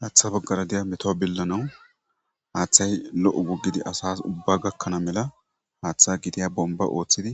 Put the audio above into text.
Haaththa baggara diya meto billanawu haaththay lo7o goggidi asas ubba gakkana mela haaththa gidiya bomba ooththidi